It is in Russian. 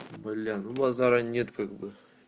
блин ну базара нет как бы